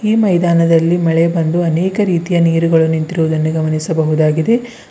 ಈ ಮೈದಾನದಲ್ಲಿ ಮಳೆ ಬಂದು ಅನೇಕ ರೀತಿಯ ನೀರುಗಳು ನಿಂತಿರುವುದನ್ನು ಗಮನಿಸಬಹುದಾಗಿದೆ.